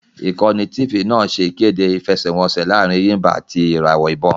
Ìkànnì Tifì náà ṣẹ́ ìkéde ìfẹsẹ́wọnseẹ̀ laarin Ẹ̀yìmbà àti ìràwọ̀ ìbon